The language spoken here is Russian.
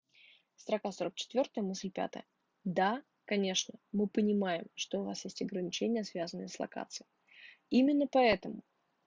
строка сорок четвёртая мысль пятая да конечно мы понимаем что у вас есть ограничения связанные с локацией именно поэтому